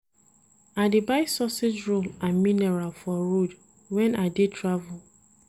I dey buy sausage roll and mineral for road wen I dey travel.